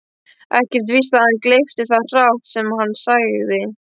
Ekkert víst að hann gleypti það hrátt sem hann segði.